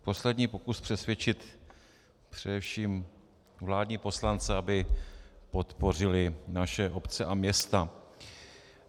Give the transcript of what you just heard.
Poslední pokus přesvědčit především vládní poslance, aby podpořili naše obce a města.